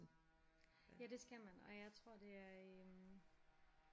Ja det skal man og jeg tror det er øh